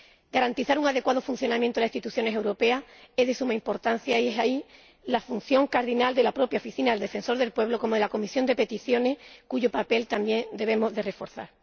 Garantizar un adecuado funcionamiento de las instituciones europeas es de suma importancia y esa es la función cardinal de la propia oficina del Defensor del Pueblo, así como de la Comisión de Peticiones, cuyo papel también debemos recordar.